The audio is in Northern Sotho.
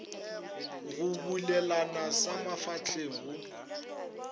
go bulelana sa mafahleng go